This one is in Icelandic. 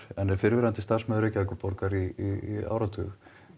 en er fyrrverandi starfsmaður Reykjavíkurborgar í áratug